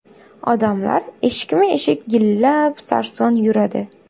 Odamlar eshikma eshik, yillab sarson yuradi.